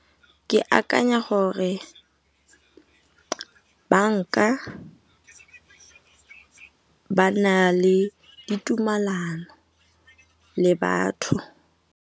Ke akanya gore banka ba na le ditumalano le batho.